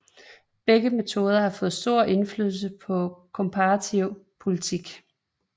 Begge metoder har fået stor indflydelse på komparativ politik